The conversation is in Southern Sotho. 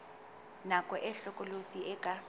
nako e hlokolosi e ka